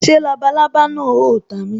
Ṣé labalábá náà o ta mi